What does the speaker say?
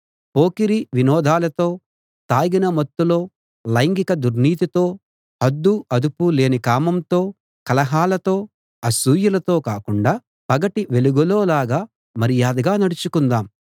పోకిరీ వినోదాలతో తాగిన మత్తులో లైంగిక దుర్నీతితో హద్దూ అదుపూ లేని కామంతో కలహాలతో అసూయలతో కాకుండా పగటి వెలుగులోలాగా మర్యాదగా నడుచుకుందాం